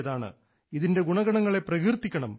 ഓരോ ഭാരതീയനും ഇതിൻറെ ഗുണഗണങ്ങളെ പ്രകീർത്തിക്കണം